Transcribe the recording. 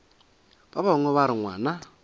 ba bangwe ba re ngwana